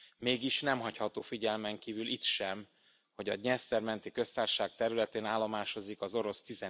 Mégis, nem hagyható figyelmen kívül itt sem, hogy a Dnyeszter menti Köztársaság területén állomásozik az orosz